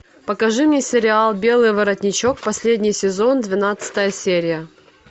покажи мне сериал белый воротничок последний сезон двенадцатая серия